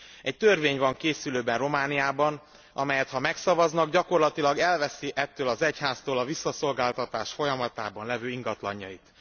Egy törvény van készülőben Romániában, amelyet ha megszavaznak, gyakorlatilag elveszi ettől az egyháztól a visszaszolgáltatás folyamatában lévő ingatlanjait.